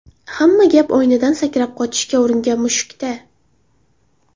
Hamma gap oynadan sakrab qochishga uringan mushukda.